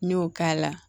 N y'o k'a la